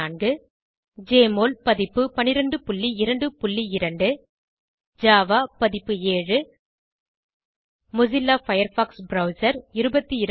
1204 JMOL பதிப்பு 1222 Java பதிப்பு 7 Mozilla Firefox browser 220